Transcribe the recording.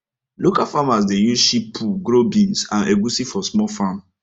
local farmers dey use sheep poo grow beans and egusi for small farm